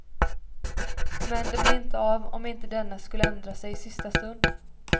Men det blir inte av om inte denne skulle ändra sig i sista stund.